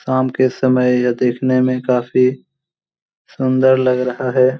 साम के समय यह देखने मे काफी सुंदर लग रहा है।